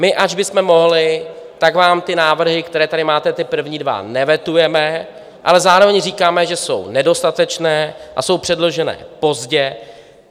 My ač bychom mohli, tak vám ty návrhy, které tady máte, ty první dva, nevetujeme, ale zároveň říkáme, že jsou nedostatečné a jsou předloženy pozdě.